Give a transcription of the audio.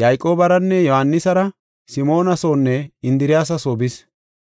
Yayqoobaranne Yohaanisara Simoona soonne Indiriyasa soo bis.